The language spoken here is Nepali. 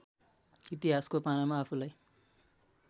इतिहासको पानामा आफूलाई